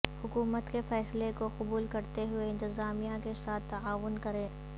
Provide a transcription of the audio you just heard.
حکومت کے فیصلہ کو قبول کرتے ہوئے انتظامیہ کے ساتھ تعاون کریں